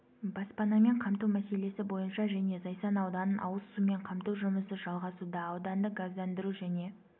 баспанамен қамту мәселесі бойынша және зайсан ауданын ауыз сумен қамту жұмысы жалғасуда ауданды газдандыру және